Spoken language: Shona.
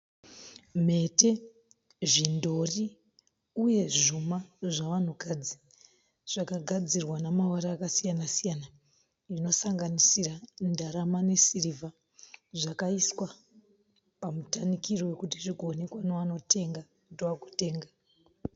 Mhete, zvidhori uye zvuma zvavanhukadzi zvakagadzirwa namavara akasiyana siyana zvinosanganisira ndarama nesirivha . Zvakaiswa pamutarikiro wekuti zvigoonekea nevanotenga kuti vagotenga.